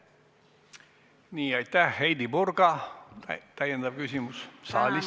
Heidy Purga, täiendav küsimus saalist.